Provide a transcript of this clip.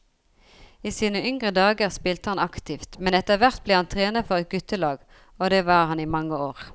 I sine yngre dager spilte han aktivt, men etterhvert ble han trener for et guttelag, og det var han i mange år.